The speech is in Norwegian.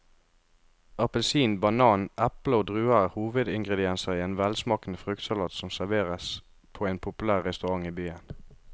Appelsin, banan, eple og druer er hovedingredienser i en velsmakende fruktsalat som serveres på en populær restaurant i byen.